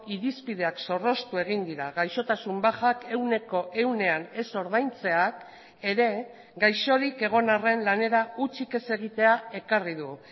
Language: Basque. irizpideak zorroztu egin dira gaixotasun bajak ehuneko ehunean ez ordaintzeak ere gaixorik egon arren lanera hutsik ez egitea ekarri du